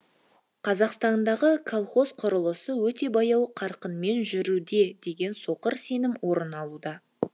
қазақстандағы колхоз құрылысы өте баяу қарқынмен жүруде деген соқыр сенім орын алуда